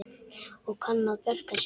Og kann að bjarga sér.